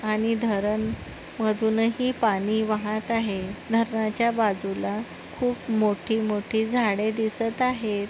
आणि धरण मधुनही पाणी वाहत आहे धरणाच्या बाजूला खूप मोठी-मोठी झाड़े दिसत आहेत.